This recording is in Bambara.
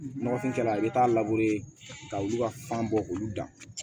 Nɔgɔfin kɛla i bɛ taa ka olu ka fan bɔ k'olu dan